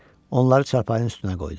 Onları çarpayının üstünə qoydu.